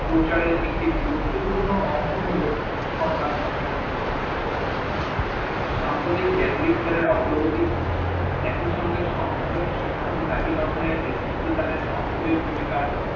প্রচারের একটি গুরুত্ব পূর্ণ অংশ হল সংবাদপত্র সাম্প্রদিক জ্ঞান বিজ্ঞানের অগ্রগতি, একইসঙ্গে সমগ্র শিক্ষক ও জাতি গঠনের এক্ততিত্ত টাকে সক্রিও ভুমিকার